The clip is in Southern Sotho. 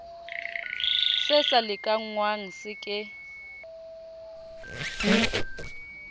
se sa lekanngwang se ke